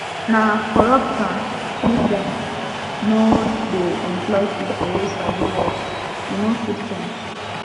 na corruption make dem no dey employ pipo wey sabi work e no fit change